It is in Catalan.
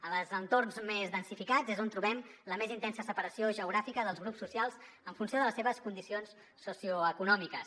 en els entorns més densificats és on trobem la més intensa separació geogràfica dels grups socials en funció de les seves condicions socioeconòmiques